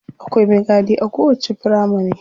Akwai me gadi a kowacce firamari.